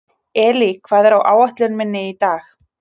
Elí, hvað er á áætluninni minni í dag?